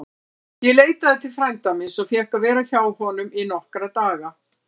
Ég leitaði til frænda míns og fékk að vera hjá honum í nokkra daga.